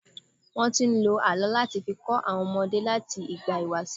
Wọ́n ti ń lo àlọ́ láti fi kọ́ àwọn ọmọdé láti ìgbà ìwàṣẹ̀.